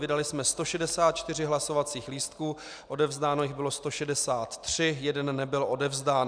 Vydali jsme 164 hlasovacích lístků, odevzdáno jich bylo 163, jeden nebyl odevzdán.